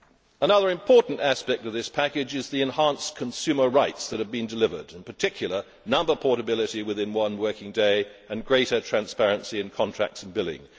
Another important aspect of this package is the enhanced consumer rights that have been delivered, in particular number portability within one working day and greater transparency in contracts and billing.